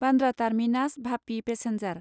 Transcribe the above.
Bandra terminus भापि passenger